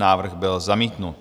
Návrh byl zamítnut.